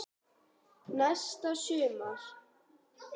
Næsta sumar.